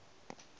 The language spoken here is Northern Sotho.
ye mebjalo ge e le